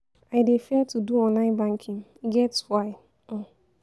I dey fear to do online banking, e get why. um